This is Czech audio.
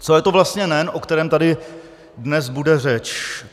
Co je to vlastně NEN, o kterém tady dnes bude řeč?